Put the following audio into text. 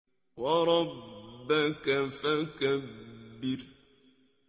وَرَبَّكَ فَكَبِّرْ